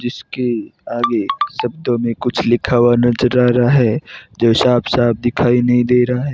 जिसके आगे शब्दों में कुछ लिखा हुआ नजर आ रहा है साफ साफ दिखाई नहीं दे रहा है।